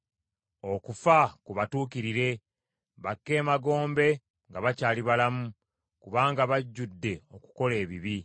Okufa kubatuukirire, bakke emagombe nga bakyali balamu; kubanga bajjudde okukola ebibi.